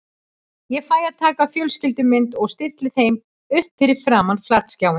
Ég fæ að taka fjölskyldumynd og stilli þeim upp fyrir framan flatskjáinn.